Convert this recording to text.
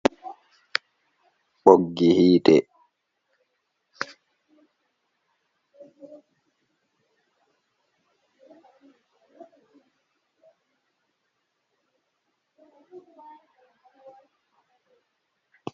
Ɓoggi hiite ɗo jooɗi dow tebur ,ɓoggi yiite man ɗon ɓaleewol be daneewol. Ɗi fu maagi, ɗi ɗo mari pulaayaji haa ragare.